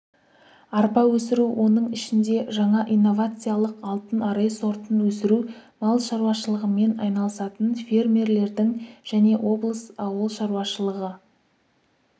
арпа өсіру оның ішінде жаңа инновациялық алтын арай сортын өсіру мал шаруашылығымен айналысатын фермерлердің және облыс ауыл шаруашылығы